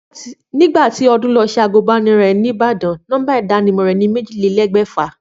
Nígbà tí Odún lo se àgbùnbánirò ní Ìbàdàn, nómbà ìdánimò rè ni méjílélégbèfà